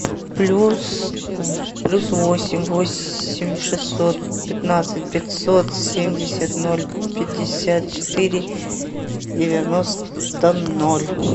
плюс плюс восемь восемь шестьсот пятнадцать пятьсот семьдесят ноль пятьдесят четыре девяносто ноль